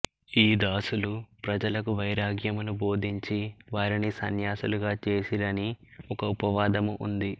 ఈదాసులు ప్రజలకు వైరాగ్యమును బొధించి వారిని సన్యాసులుగా జేసిరని ఒక ఉపవాదము ఉంది